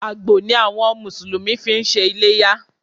Àgbò ni àwọn àwọn Mùsùlùmí fi ń ṣe iléyá